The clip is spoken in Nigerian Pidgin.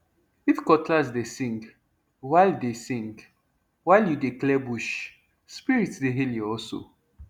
if cutlass dey sing while dey sing while you dey clear bush spirits dey hail your hustle